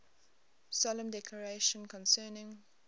solemn declaration concerning